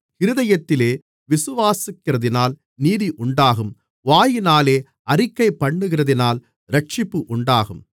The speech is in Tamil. இருதயத்திலே விசுவாசிக்கிறதினால் நீதி உண்டாகும் வாயினாலே அறிக்கைபண்ணுகிறதினால் இரட்சிப்பு உண்டாகும்